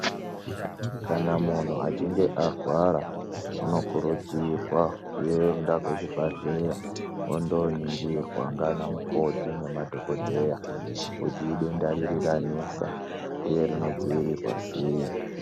Kana muntu achinge arwara unokurudzirwa kuenda kuzviibhahleya unoningirwa nana mukoti nemadhokodheya kuti idenda ripi ranesa uye rinodziirirwa sei